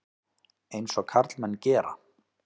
Eins og karlmenn gera.